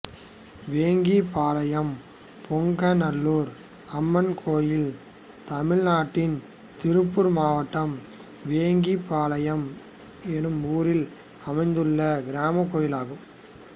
வேங்கிபாளையம் பொங்காநல்லூர் அம்மன் கோயில் தமிழ்நாட்டில் திருப்பூர் மாவட்டம் வேங்கிபாளையம் என்னும் ஊரில் அமைந்துள்ள கிராமக் கோயிலாகும்